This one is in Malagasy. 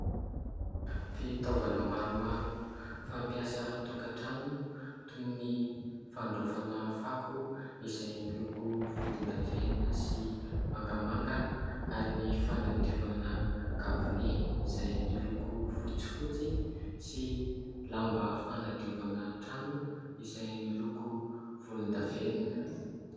Fitaovana maromaro fampiasa an-tokatrano toy ny fandraofana fako izay miloko volondavenona sy mangamanga ary ny fanadiovana kabone izay miloko fotsifotsy sy lamba fanadiovana trano izay miloko volondavenona.